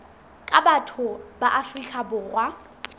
ka batho ba afrika borwa